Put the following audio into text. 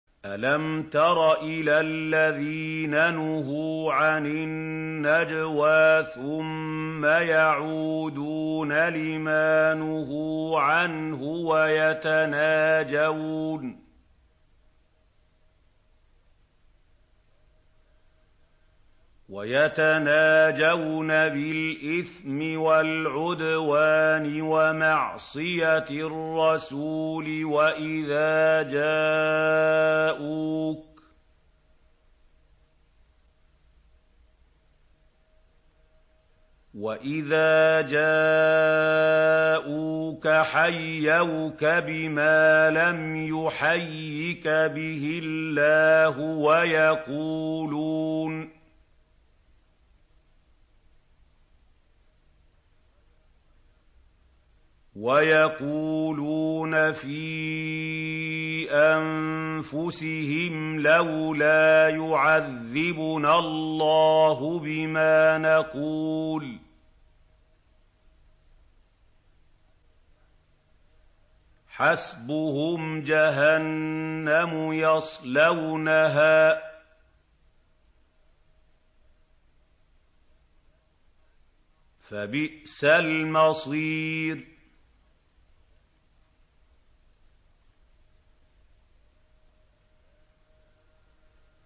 أَلَمْ تَرَ إِلَى الَّذِينَ نُهُوا عَنِ النَّجْوَىٰ ثُمَّ يَعُودُونَ لِمَا نُهُوا عَنْهُ وَيَتَنَاجَوْنَ بِالْإِثْمِ وَالْعُدْوَانِ وَمَعْصِيَتِ الرَّسُولِ وَإِذَا جَاءُوكَ حَيَّوْكَ بِمَا لَمْ يُحَيِّكَ بِهِ اللَّهُ وَيَقُولُونَ فِي أَنفُسِهِمْ لَوْلَا يُعَذِّبُنَا اللَّهُ بِمَا نَقُولُ ۚ حَسْبُهُمْ جَهَنَّمُ يَصْلَوْنَهَا ۖ فَبِئْسَ الْمَصِيرُ